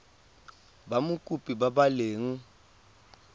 ba mokopi ba ba leng